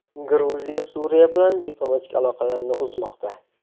Gruziya Suriya bilan diplomatik aloqalarini uzmoqda.